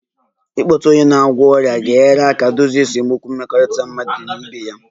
Ịkpọtụrụ onye na-agwọ ọrịa ga-enyere aka dozie esemokwu mmekọrịta mmadụ na ibe ya